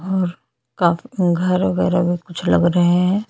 cricket का मैदान लग रहा है और ये--